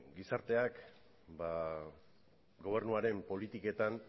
gizarteak gobernuaren politiketan